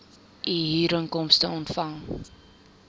u huurinkomste ontvang